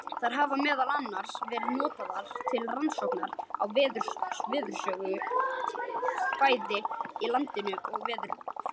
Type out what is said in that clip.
Þær hafa meðal annars verið notaðar til rannsókna á veðurfarssögu, bæði í landafræði og veðurfræði.